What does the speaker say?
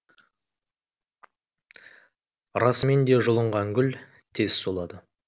расымен де жұлынған гүл тез солады